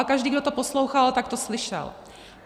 A každý, kdo to poslouchal, tak to slyšel.